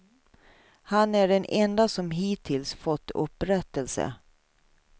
Han är den enda som hittills fått upprättelse.